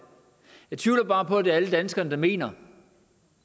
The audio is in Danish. jeg tvivler bare på at det er alle danskere der mener